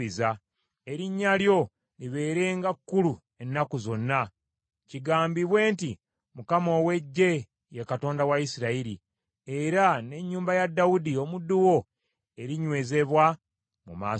erinnya lyo ligulumizibwenga emirembe gyonna, n’abantu boogerenga nti, ‘ Mukama ow’Eggye ye Katonda wa Isirayiri,’ era n’ennyumba ey’omuddu wo Dawudi erinywezebwa mu maaso go.